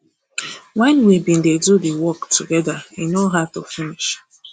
wen we bin dey do di work togeda e no hard to finish